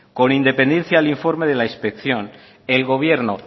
con independencia al informe de la inspección el gobierno